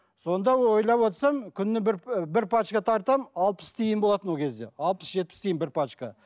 сонда ойлап отырсам күніне бір бір пачка тартамын алпыс тиын болатын ол кезде алпыс жетпіс тиын бір пачка